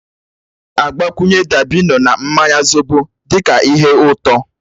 A na-agbakwunye dabino na mmanya zobo dị ka ihe ụtọ.